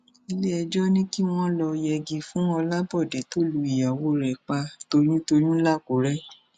iléẹjọ ní kí wọn lọọ yẹgi fún ọlábòde tó lu ìyàwó rẹ pa toyyún toyyún làkúrẹ